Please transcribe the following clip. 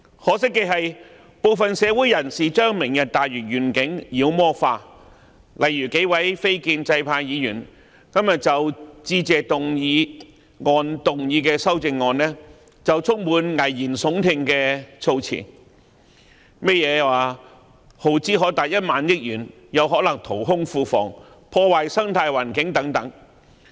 可惜的是，部分社會人士把"明日大嶼願景"妖魔化，例如數位非建制派議員今天就致謝議案動議修正案的發言便充滿危言聳聽的措辭，例如耗支可達1萬億元，有可能淘空庫房，破壞生態環境等。